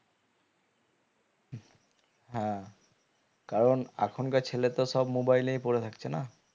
হ্যাঁ কারণ এখনকার ছেলে তো সব mobile এই পরে থাকছে না